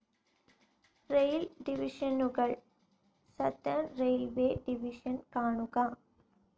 Rail ഡിവിഷനുകൾ. Southern railways division കാണുക